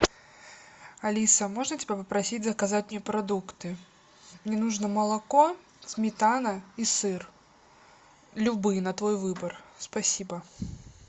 алиса можно тебя попросить заказать мне продукты мне нужно молоко сметана и сыр любые на твой выбор спасибо